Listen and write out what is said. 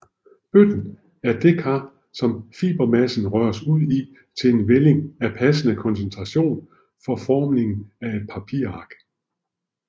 Bøtten er det kar som fibermassen røres ud i til en vælling af passende koncentration for formning af et papirark